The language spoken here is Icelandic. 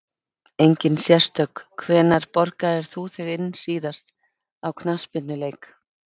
Engin sérstök Hvenær borgaðir þú þig síðast inn á knattspyrnuleik?